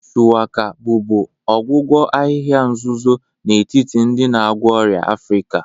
Shuwaka bụbu ọgwụgwọ ahịhịa nzuzo n'etiti ndị na-agwọ ọrịa Africa.